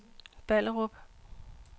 Ballerup